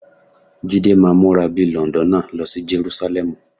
Jídé máa múra bí i Lọ̀ǹdọ́nà lọ sí Jerúsálẹ́mù.